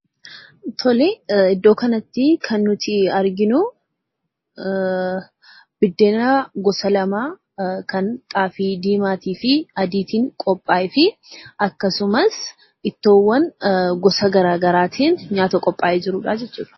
Iddoo kanatti kan arginu biideen gosa lama., kan xaafii diimaafi adiitin qophaa'efi akkasumas ittoowwan gosa garaa garaatin nyaata qophaa'ee jirudha jechuudha.